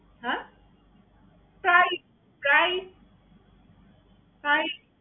হ্যাঁ? প্রায়ই প্রায়ই প্রায়ই